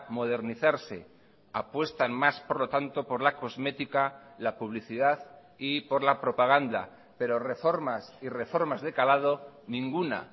modernizarse apuestan más por lo tanto por la cosmética la publicidad y por la propaganda pero reformas y reformas de calado ninguna